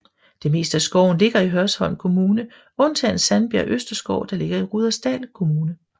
Det meste af skoven ligger i Hørsholm Kommune undtagen Sandbjerg Østerskov der ligger i Rudersdal Kommune